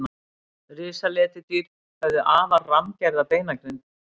risaletidýr höfðu afar rammgerða beinagrind